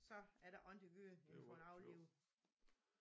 Så er der ikke andet gøre end få den aflivet